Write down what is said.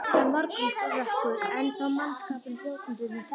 Það er morgunrökkur ennþá og mannskapurinn hrjótandi undir sæng.